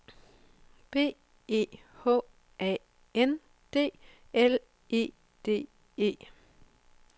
B E H A N D L E D E